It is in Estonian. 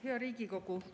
Hea Riigikogu!